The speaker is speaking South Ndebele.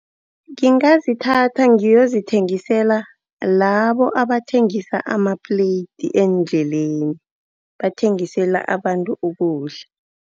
Ngingazithatha ngiyozithengisela labo abathengisa ama-plate endleleni, bathengisela abantu ukudla.